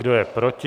Kdo je proti?